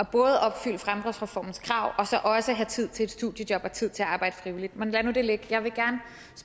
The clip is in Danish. både at opfylde fremdriftsreformens krav og så også have tid til et studiejob og tid til at arbejde frivilligt men lad nu det ligge jeg vil